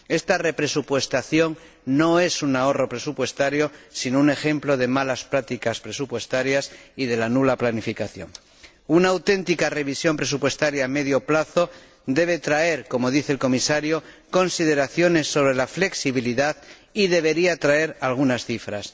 Esta represupuestación no es un ahorro presupuestario sino un ejemplo de malas prácticas presupuestarias y de la nula planificación. Una auténtica revisión presupuestaria a medio plazo debe traer, como dice el Comisario, consideraciones sobre la flexibilidad y debería traer algunas cifras.